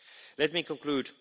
Let me conclude.